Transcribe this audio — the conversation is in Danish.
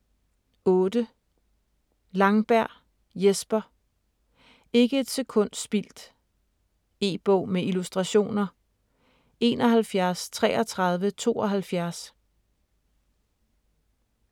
8. Langberg, Jesper: Ikke et sekund spildt E-bog med illustrationer 713372